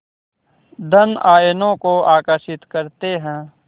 धन आयनों को आकर्षित करते हैं